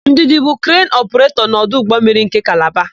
Ndụdị bụ krenu ọpụretọ n'ọdụ ụgbọmmiri nke Kalaba.